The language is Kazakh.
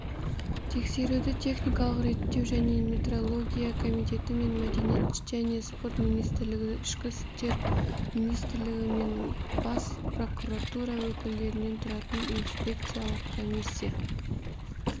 тексеруді техникалық реттеу және метрология комитеті мен мәдениет және спорт министрлігі ішкі істер министрлігі мен бас прокуратура өкілдерінен тұратын инспекциялық комиссия